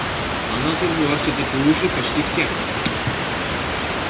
она тут была всё-таки лучше почти всех